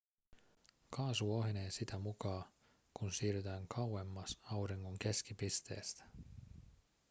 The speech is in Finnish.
kaasu ohenee sitä mukaa kun siirrytään kauemmas auringon keskipisteestä